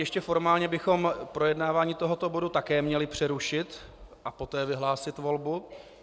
Ještě formálně bychom projednávání tohoto bodu také měli přerušit a poté vyhlásit volbu.